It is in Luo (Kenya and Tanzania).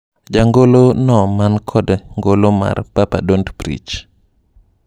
Jangolo no man kod ngolo mar…Papa don't preach…